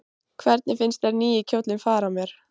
Hvernig finnst þér nýi kjóllinn fara mér?